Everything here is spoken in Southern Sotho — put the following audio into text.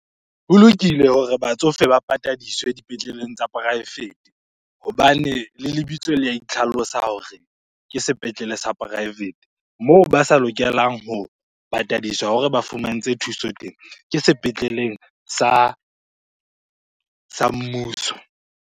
Ho lokile hore batsofe ba patadiswe dipetleleng tsa poraefete hobane le lebitso la itlhalosa hore ke sepetlele sa poraefete. Moo ba sa lokelang ho patadiswa hore ba fumantshwe thuso teng ke sepetleleng sa mmuso.